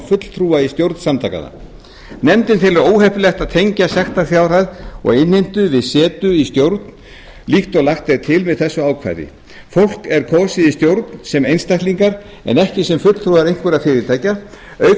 fulltrúa í stjórn samtakanna nefndin telur óheppilegt að tengja sektarfjárhæð og innheimtu við setu í stjórn líkt og lagt er til með þessu ákvæði fólk er kosið í stjórn sem einstaklingar en ekki sem fulltrúar einhverra fyrirtækja auk